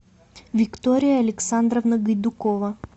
виктория александровна гайдукова